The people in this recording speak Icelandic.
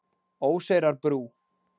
Óseyrarbrú